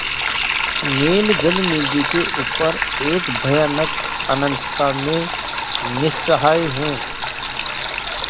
नील जलनिधि के ऊपर एक भयानक अनंतता में निस्सहाय हूँ